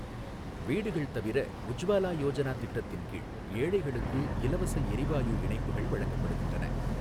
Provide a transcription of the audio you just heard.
வீடுகள் தவிர, உஜ்வாலா யோஜனா திட்டத்தின்கீழ், ஏழைகளுக்கு இலவசஎரிவாயு இணைப்புகள் வழங்கப்படுகின்றன.